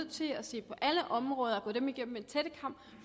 til at se på alle områder og gå dem igennem med en tættekam